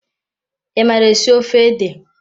I mara esi ofe ede?